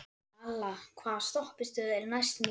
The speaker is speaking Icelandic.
Malla, hvaða stoppistöð er næst mér?